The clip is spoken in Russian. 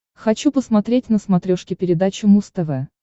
хочу посмотреть на смотрешке передачу муз тв